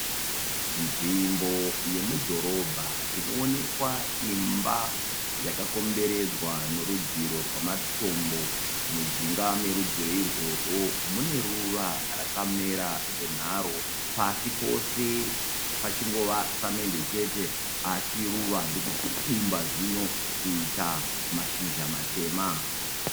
Nzvimbo yemudhorobha inoonekwa imba yakakomberedzwa norudziro rwamatombo, mujinga merudziro irworwo mune ruva rakamera zvenharo pasi pose pachingova samende chete, asi ruva ndokuchibumba zvino kuita mashizha matema.